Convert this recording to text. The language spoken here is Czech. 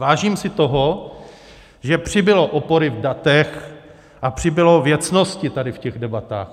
Vážím si toho, že přibylo opory v datech a přibylo věcnosti tady v těch debatách.